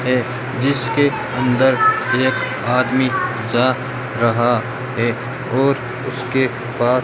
हैं जिसके अंदर एक आदमी जा रहा हैं और उसके पास --